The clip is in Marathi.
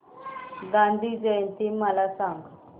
गांधी जयंती मला सांग